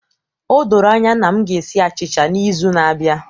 O doro anya na m ga-esi achịcha n'izu na-abịa